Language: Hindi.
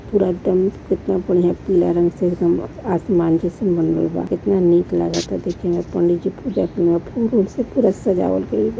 पूरा टेंट कितना बढ़िया पीला रंग से एकदम आसमान जइसन बनल बा। कितना निक लागता देखे में पंडित जी पूजा किए फुल उल से पूरा सजावल गईल बा।